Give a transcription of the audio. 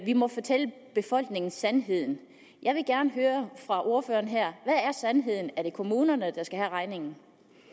må fortælle befolkningen sandheden jeg vil gerne høre fra ordføreren her hvad er sandheden er det kommunerne der skal have regningen